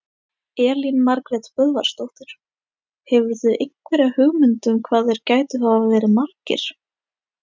Elín Margrét Böðvarsdóttir: Hefurðu einhverja hugmynd um hvað þeir gætu hafa verið margir?